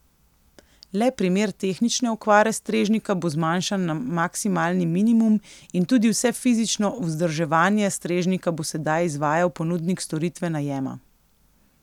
Le primer tehnične okvare strežnika bo zmanjšan na maksimalni minimum in tudi vse fizično vzdrževanje strežnika bo sedaj izvajal ponudnik storitve najema.